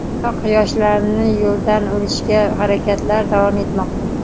Biroq yoshlarni yo‘ldan urishga harakatlar davom etmoqda.